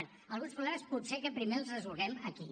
bé alguns problemes potser que primer els resolguem aquí